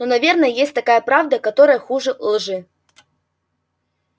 но наверное есть такая правда которая хуже лжи